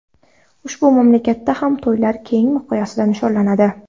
Ushbu mamlakatda ham to‘ylar keng miqyosda nishonlanadi.